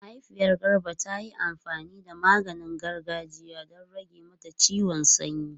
Mahaifiyar Garba ta yi amfani da maganin gargajiya don rage mata ciwon sanyi.